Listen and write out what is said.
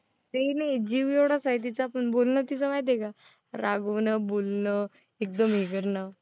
ते नाही, जीव एवढाच आहे तिचं पण बोलणं तिचं माहिती आहे का? रागवणं, बोलणं, एकदम हे करणं.